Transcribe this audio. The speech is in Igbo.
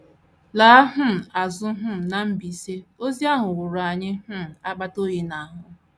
Laa um azụ um na Mbaise, ozi ahụ wụrụ anyị um um akpata oyi n’ahụ.